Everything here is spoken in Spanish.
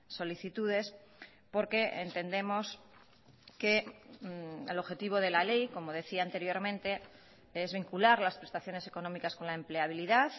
solicitudes porque entendemos que el objetivo de la ley como decía anteriormente es vincular las prestaciones económicas con la empleabilidad